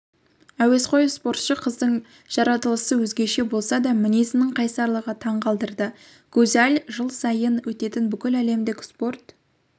әуесқой спортшы қыздың жаратылысы өзгеше болса да мінезінің қайсарлығы таңғалдырды гузаль жыл сайын өтетін бүкіләлемдік спорт